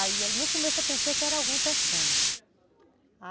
Aí no começo eu pensei que era alguém pescando.